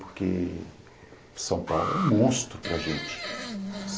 Porque São Paulo é um monstro para gente.